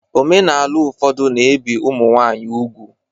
Omenala ụfọdụ na-ebi ụmụ nwanyị ugwu